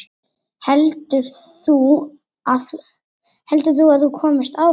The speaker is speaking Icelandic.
Heldur þú að þú komist áfram?